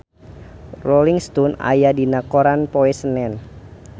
Rolling Stone aya dina koran poe Senen